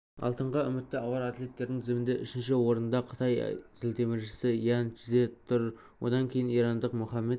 алтынға үмітті ауыр атлеттердің тізімінде үшінші орында қытай зілтеміршісі ян чжэ тұр одан кейін ирандық мохаммад